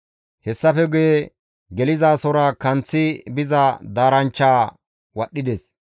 Hessafe guye gelizasora kanththi biza daaranchchaa wadhdhides.